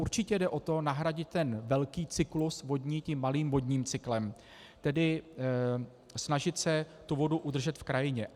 Určitě jde o to nahradit ten velký cyklus vodní tím malým vodním cyklem, tedy snažit se tu vodu udržet v krajině.